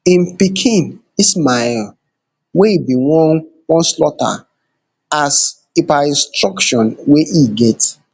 im pikin ismael wey e bin wan wan slaughter as per instruction wey e get